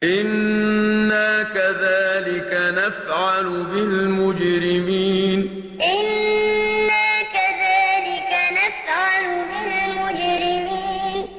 إِنَّا كَذَٰلِكَ نَفْعَلُ بِالْمُجْرِمِينَ إِنَّا كَذَٰلِكَ نَفْعَلُ بِالْمُجْرِمِينَ